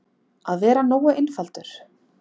Að vera nógu einfaldur.